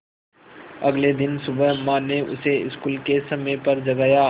अगले दिन सुबह माँ ने उसे स्कूल के समय पर जगाया